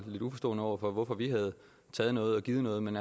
lidt uforstående over for hvorfor vi havde taget noget og givet noget men